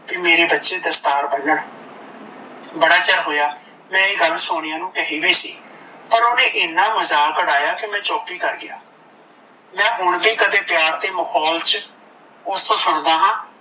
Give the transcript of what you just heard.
ਭਈ ਮੇਰੇ ਬੱਚੇ ਦਸਤਾਰ ਬਨਣ ਬੜਾ ਚਿਰ ਹੋਇਆ ਏ ਗੱਲ ਮੈ ਸੋਨੀਆ ਨੂੰ ਕਹੀ ਵੀ ਸੀ। ਪਰ ਓਨੇ ਏਨਾ ਮਜਾਕ ਉਡਾਇਆ ਕੀ ਮੈ ਚੁੱਪ ਹੀ ਕਰਗਿਆ ਮੈ ਹੁਣ ਵੀ ਕਦੇ ਪਿਆਰ ਤੇ ਮਖੋਲ ਚ ਉਸਤੋਂ ਸੁਣਦਾ ਹਾਂ